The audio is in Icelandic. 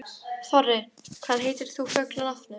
Þorri, hvað heitir þú fullu nafni?